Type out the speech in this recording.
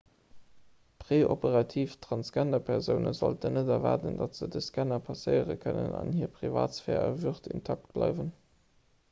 preoperativ transgenderpersoune sollten net erwaarden datt se de scanner passéiere kënnen an hir privatsphär a würd intakt bleiwen